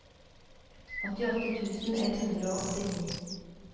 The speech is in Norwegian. åttiåtte tusen ett hundre og åttini